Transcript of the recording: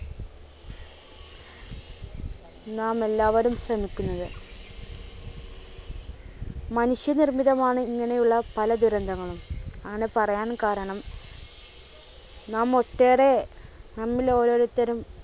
നാമെല്ലാവരും ശ്രമിക്കുന്നത്. മനുഷ്യനിർമിതമാണ് ഇങ്ങനെയുള്ള പല ദുരന്തങ്ങളും. അങ്ങനെ പറയാൻ കാരണം നാം ഒട്ടേറെ നമ്മളിൽ ഓരോരുത്തരും